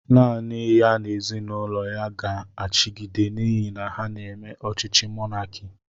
Nanị ya n'ezinụlọ ya ga achigide n'ihi na ha n'eme ọchịchị mọnaki